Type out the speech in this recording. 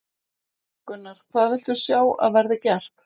Gunnar: Hvað viltu sjá að verði gert?